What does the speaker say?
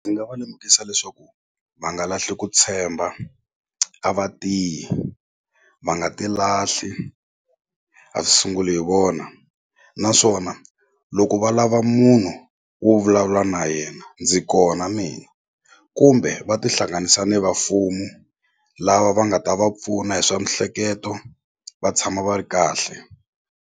Ni nga va lemukisa leswaku va nga lahli ku tshemba a va tiyi va nga ti lahli a swi sunguli hi vona naswona loko va lava munhu wo vulavula na yena ndzi kona mina kumbe va tihlanganisa ni va mfumo lava va nga ta va pfuna hi swa mihleketo va tshama va ri kahle.